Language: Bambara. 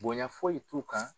Bonya foyi t'u kan.